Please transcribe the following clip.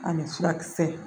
Ani furakisɛ